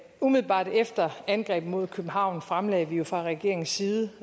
umiddelbart efter angrebet mod københavn fremlagde vi jo fra regeringens side